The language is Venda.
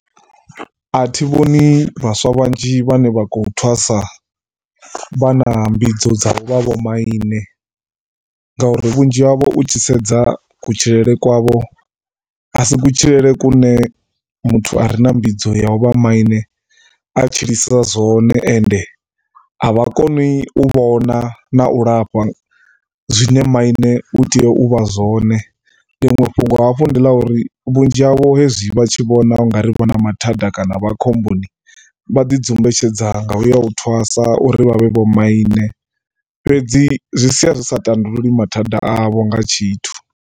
A thi vhoni vhaswa vhanzhi vhane vha khou thwasa vha na mbidzo dza u vha vhomaine ngauri vhunzhi havho u tshi sedza kutshilele kwavho, a si kutshilele kune muthu a re a vha na mbidzo ya u vha maine a tshilisa zwone. And a vha koni u vhona na u lafha, zwine maine u tea u vha zwone. Ḽiṅwe fhungo hafhu ndi ḽa uri vhunzhi havho hezwi vha tshi vhona u nga vha na mathanda kana vha khomboni vha ḓi dzumbetshedza nga u ya u thwasa u ri vha vhe vhomaine fhedzi zwi sia zwi sa tandululi mathanda avho nga tshithu.